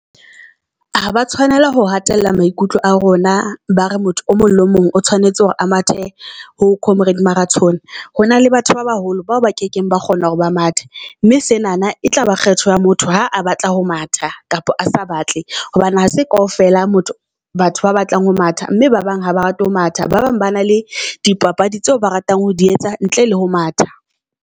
Ha ba tshwanela ho hatella maikutlo a rona, ba re motho o mong le mong o tshwanetse hore a mathe ho comrades marathon. Ho na le batho ba baholo bao ba kekeng ba kgona hore ba mathe mme senana e tlaba ya kgetho ya motho. Ha a batla ho matha kapa a sa batle hobane ha se kaofela motho batho ba batlang ho matha mme ba bang ha ba rate ho matha. Ba bang ba na le di papadi tseo ba ratang ho di etsa ntle le ho matha.